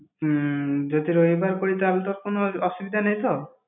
উম যদি রবিবার করি তাহলে, তোর কোনো অসুবিধা নেই তো?